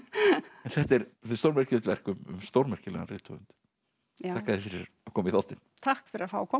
en þetta er stórmerkilegt verk um stórmerkilegan rithöfund þakka þér fyrir að koma í þáttinn takk fyrir að fá að koma